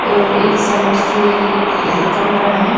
और एक साइड से एक कमरा हैं।